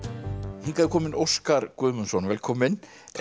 hingað er kominn Óskar Guðmundsson velkominn